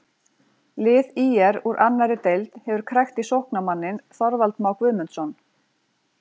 Lið ÍR úr annarri deild hefur krækt í sóknarmanninn Þorvald Má Guðmundsson.